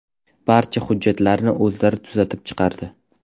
Barcha hujjatlarni o‘zlari tuzatib chiqardi.